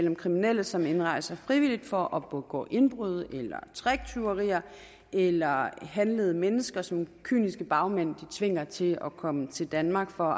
om kriminelle som indrejser frivilligt for at begå indbrud eller tricktyverier eller handlede mennesker som kyniske bagmænd tvinger til at komme til danmark for